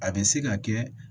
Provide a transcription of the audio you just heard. A bɛ se ka kɛ